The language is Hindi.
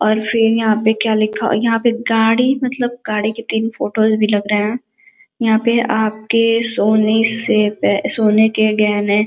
और फिर यहाँ पे क्या लिखा यहाँ पे गाड़ी मतलब गाड़ी के तीन फोटो भी लग रहे हैं। यहाँ पे आपके सोने से पह सोने के गहने --